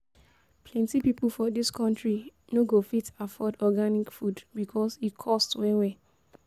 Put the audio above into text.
Plenty pipo for dis country no go fit afford organic food because e cost well-well.